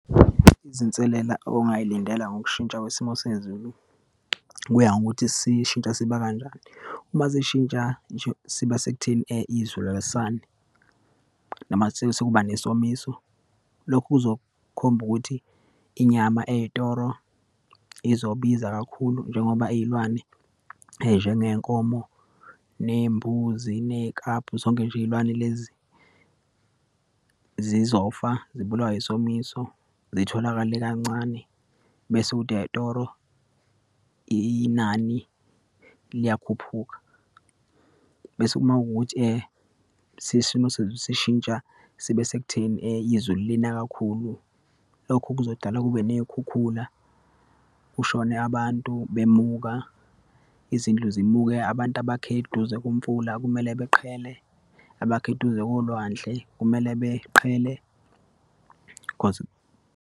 Izinselela ongayilindele ngokushintsha kwesimo sezulu, kuya ngokuthi sishintsha siba kanjani. Uma sishintsha siba sekutheni izulu alisani noma kusuke sekuba nesomiso. Lokhu kuzokhomba ukuthi inyama eyitoro izobiza kakhulu njengoba iyilwane, njengeyinkomo, neyimbuzi, neyiklabhu, zonke nje iyilwane lezi, zizofa zibulawe isomiso, zitholakale kancane, bese kuthi eyitoro inani liyakhuphuka. Bese uma kuwukuthi isimo sezulu sishintsha sibe sekutheni izulu lina kakhulu. Lokhu kuzodala kube neyikhukhula, kushone abantu, bemuka, izindlu zimuke, abantu abakhe eduze komfula kumele beqhelele, abakhe eduze kolwandle kumele beqhelelane, cause.